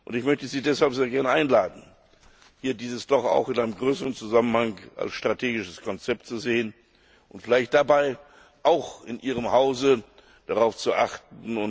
Ich möchte Sie deshalb sehr gerne einladen, dies doch auch in einem größeren Zusammenhang als strategisches Konzept zu sehen und dabei vielleicht auch in Ihrem Hause darauf zu achten.